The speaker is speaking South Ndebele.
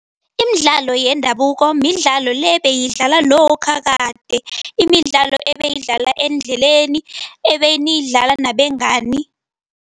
Imidlalo yendabuko midlalo le beyidlalwa lokha kade. Imidlalo ebeyidlalwa endleleni, ebeniyidla nabengani.